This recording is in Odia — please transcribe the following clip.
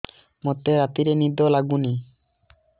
ମୋତେ ରାତିରେ ନିଦ ଲାଗୁନି